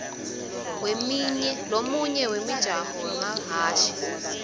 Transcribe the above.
lomunye wemijaho wemahhashi